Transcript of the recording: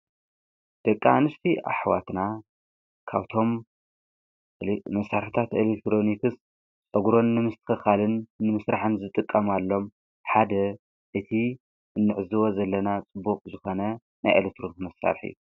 ደቃ ንስቲ ኣኅዋትና ካውቶም መሣርታት ኤሌቴሮኒክስ ዕጕሮን ንምስተከኻል ንምሥራሐን ዝጥቀምኣሎም ሓደ እቲ እንዕዝወ ዘለና ጽቡቕ ዝኾነ ናይ ኤሌትሮም መሣርሒ አዩ።